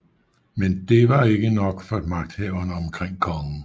Men det var ikke nok for magthaverne omkring kongen